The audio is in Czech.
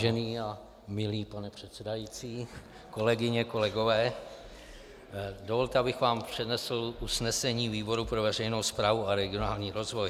Vážený a milý pane předsedající, kolegyně, kolegové, dovolte, abych vám přednesl usnesení výboru pro veřejnou správu a regionální rozvoj.